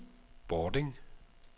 Bording